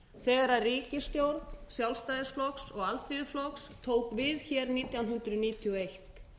þegar ríkisstjórn sjálfstæðisflokks og alþýðuflokks tók við nítján hundruð níutíu og eitt